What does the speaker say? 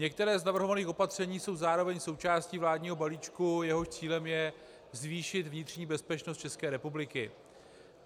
Některá z navrhovaných opatření jsou zároveň součástí vládního balíčku, jehož cílem je zvýšit vnitřní bezpečnost České republiky.